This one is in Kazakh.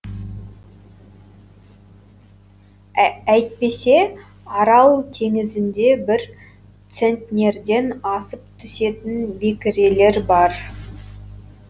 әйтпесе арал теңізінде бір центнерден асып түсетін бекірелер бар